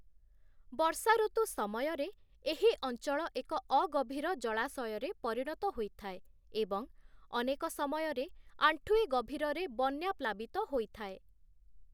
ବର୍ଷାଋତୁ ସମୟରେ, ଏହି ଅଞ୍ଚଳ ଏକ ଅଗଭୀର ଜଳାଶୟରେ ପରିଣତ ହୋଇଥାଏ ଏବଂ ଅନେକ ସମୟରେ ଆଣ୍ଠୁଏ ଗଭୀରରେ ବନ୍ୟା ପ୍ଲାବିତ ହୋଇଥାଏ ।